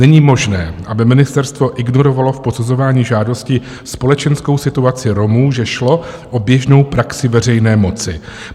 Není možné, aby ministerstvo ignorovalo v posuzování žádosti společenskou situaci Romů, že šlo o běžnou praxi veřejné moci.